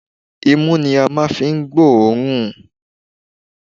Imú ni a máa ń fi ń gbó òórùn